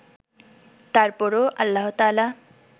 তারপরও আল্লাহতায়ালা